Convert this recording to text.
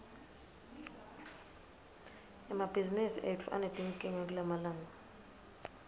emabhizimisi etfu anetinkinga kulamalanga